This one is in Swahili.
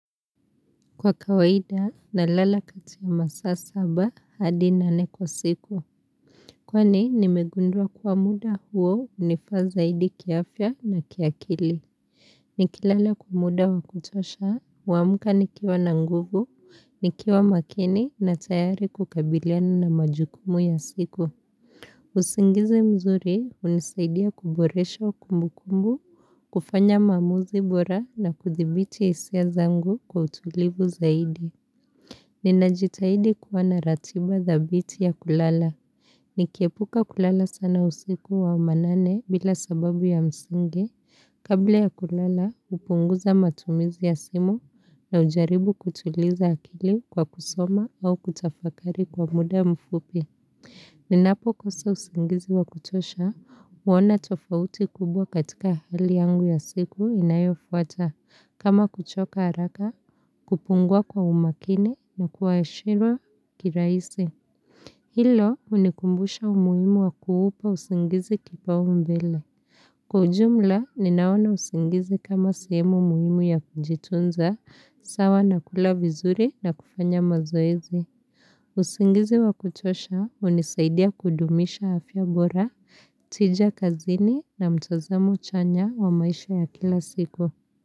Kwa kawaida na lala kati ya masaa saba hadi nane kwa siku. Kwani nimegundua kuwamuda huo unifaa zaidi kiafya na kiakili. Nikilala kwa muda wa kutosha, huamka nikiwa na nguvu, nikiwa makini na tayari kukabiliana na majukumu ya siku. Usingizi mzuri hunisaidia kuboresha wa kumbu kumbu, kufanya maamuzi bora na kuthibiti isia zangu kwa utulivu zaidi. Ni najitahidi kuwa naratiba thabiti ya kulala. Ni kiepuka kulala sana usiku wa manane bila sababu ya msingi. Kabla ya kulala, upunguza matumizi ya simu na kujaribu kutuliza akili kwa kusoma au kutafakari kwa muda mfupi. Ninapo kosa usingizi wa kutosha, uona tofauti kubwa katika hali yangu ya siku inayo fuata. Kama kuchoka haraka, kupunguwa kwa umakini na kuwaeshirwa kiraisi. Hilo unikumbusha umuhimu wa kuupa usingizi kipao mbele. Kwa ujumla, ninaona usingizi kama sehemu muhimu ya kujitunza, sawa na kula vizuri na kufanya mazoezi. Usingizi wa kuchosha hunisaidia kudumisha afya bora, tija kazini na mtazamo chanya wa maisha ya kila siku.